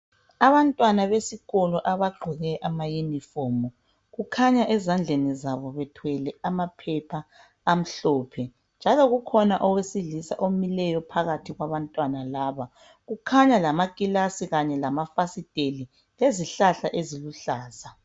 Abantwana besikolo abaqoke ama uniform kukhanya ezandleni zabo bethwele amaphepha amhlophe , njalo kukhona owesilisa omileyo phakathi kwabantwana laba kukhanya lama kilasi kanye lama fasiteli lezihlahla eziluhlaza.